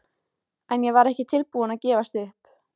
En ég var ekki tilbúin að gefast upp.